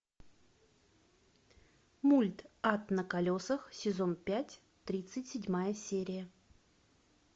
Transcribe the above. мульт ад на колесах сезон пять тридцать седьмая серия